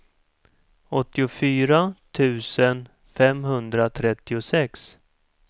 åttiofyra tusen femhundratrettiosex